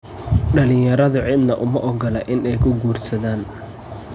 Dhalinyaradu cidna uma ogola in ay ku quudhsadaan.